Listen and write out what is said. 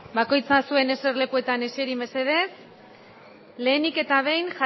bakoitza zuen eser lekuetan eseri mesedez lehenik eta bein